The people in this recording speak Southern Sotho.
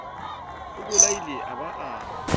o bolaile a ba a